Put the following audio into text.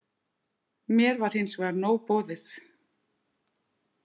Mér var hins vegar nóg boðið.